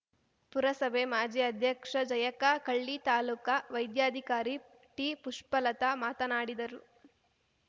ಪುರಸಭೆ ಮಾಜಿ ಅಧ್ಯಕ್ಷ ಜಯಕ್ಕ ಕಳ್ಳಿ ತಾಲೂಕಾ ವೈದ್ಯಾಧಿಕಾರಿ ಟಿಪುಷ್ಪಲತಾ ಮಾತನಾಡಿದರು